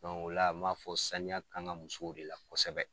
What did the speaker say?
ola an m'a fɔ ko saniya ka kan musow de la kosɛbɛ.